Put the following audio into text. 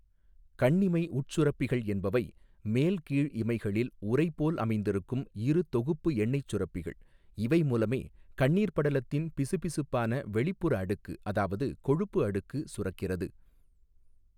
கண்ணிமை உட்சுரப்பிகள் என்பவை மேல், கீழ் இமைகளில் உறை போல் அமைந்திருக்கும் இரு தொகுப்பு எண்ணெய்ச் சுரப்பிகள், இவை மூலமே கண்ணீர் படலத்தின் பிசுபிசுப்பான வெளிப்புற அடுக்கு, அதாவது கொழுப்பு அடுக்கு, சுரக்கிறது.